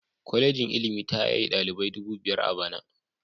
Kwalejin ilimi ta yaye dalibai dubu biyar a bana